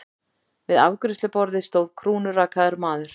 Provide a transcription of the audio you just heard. Við afgreiðsluborðið stóð krúnurakaður maður.